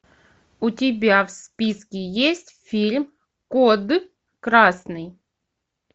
у тебя в списке есть фильм код красный